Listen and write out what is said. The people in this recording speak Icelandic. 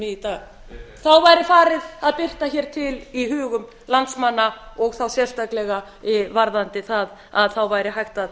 í dag heyr heyr þá væri farið að birta hér til í hugum landsmanna og þá sérstaklega varðandi það að þá væri hægt að